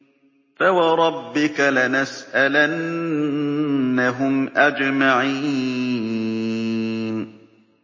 فَوَرَبِّكَ لَنَسْأَلَنَّهُمْ أَجْمَعِينَ